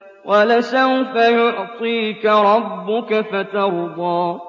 وَلَسَوْفَ يُعْطِيكَ رَبُّكَ فَتَرْضَىٰ